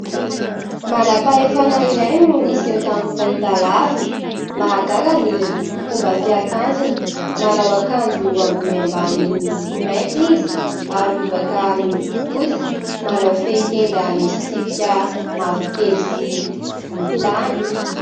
Manam-pahefana iray no niseho tamin'ny fahitalavitra. Mahagaga ny fomba fiakanjony, manao akanjo ambony ambany miloko mainty izy ary lobaka miloko fotsy. Manao fehitenda misy tsipika mavokely sy volontany.